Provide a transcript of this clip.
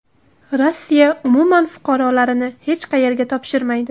Rossiya umuman fuqarolarini hech qayerga topshirmaydi.